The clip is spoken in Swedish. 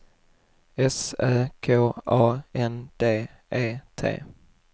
S Ö K A N D E T